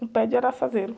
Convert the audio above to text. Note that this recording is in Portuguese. Um pé de araçazeiro.